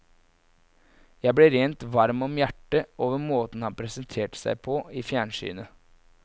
Jeg ble rent varm om hjertet over måten han presenterte seg på i fjernsynet.